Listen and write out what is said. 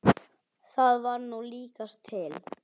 Það var nú líkast til.